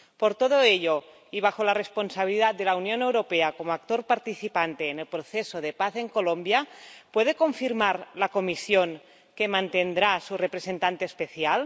Por todo ello, y bajo la responsabilidad de la Unión Europea como actor participante en el proceso de paz en Colombia, ¿puede confirmar la Comisión que mantendrá a su representante especial?